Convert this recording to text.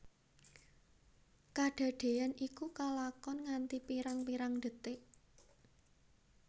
Kadadéyan iku kalakon nganti pirang pirang detik